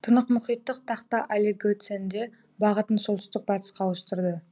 тынықмұхиттық тақта олигоценде бағытын солтүстік батысқа ауыстырды